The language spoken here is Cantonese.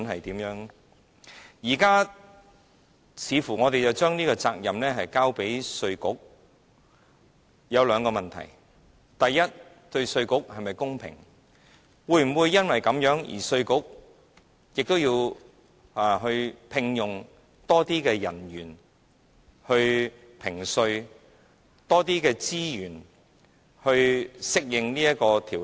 如今，我們似乎把這個責任交給了稅務局，這裏有兩個問題：第一，對稅務局是否公平，稅務局會否因而要聘用更多人員評稅，用更多資源以適應此法例？